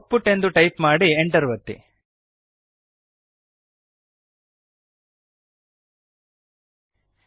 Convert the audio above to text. output ಎಂದು type ಮಾಡಿ Enter ಒತ್ತಿರಿ